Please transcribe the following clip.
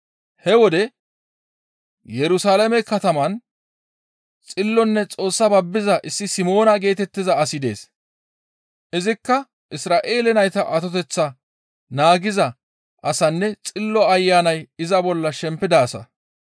He wode Yerusalaame kataman xillonne Xoossa babbiza issi Simoona geetettiza asi dees; izikka Isra7eele nayta atoteththaa naagiza asanne Xillo Ayanay iza bolla shempida asa.